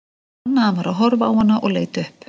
Hún fann að hann var að horfa á hana og leit upp.